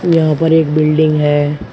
यहां पर एक बिल्डिंग है।